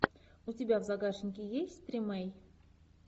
у тебя в загашнике есть тримей